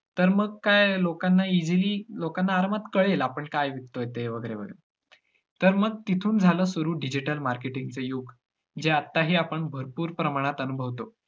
तर मग काय लोकांना easily लोकांना आरामात कळेल आपण काय विकतोय ते वैगरे - वैगरे, तर मग तिथून झालं सुरु digital marketing च युग जे आताही आपण भरपूर प्रमाणात अनुभवतो.